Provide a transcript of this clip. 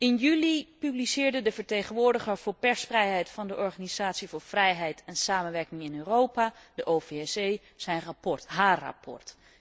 In juli publiceerde de vertegenwoordiger voor persvrijheid van de organisatie voor vrijheid en samenwerking in Europa, de OVSE, haar rapport.